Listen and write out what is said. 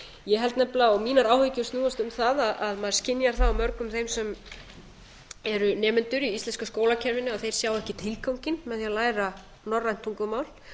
ég held nefnilega og mínar áhyggjur snúast um það að maður skynjar það á mörgum þeim sem eru nemendur í íslenska skólakerfinu að þeir sjá ekki tilganginn með því að læra norrænt tungumál